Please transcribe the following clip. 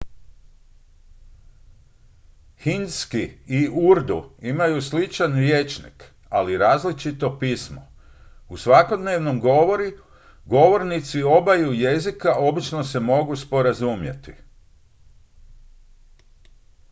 hindski i urdu imaju sličan rječnik ali različito pismo u svakodnevnom govoru govornici obaju jezika obično se mogu sporazumjeti